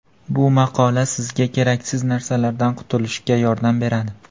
Bu maqola sizga keraksiz narsalardan qutulishga yordam beradi.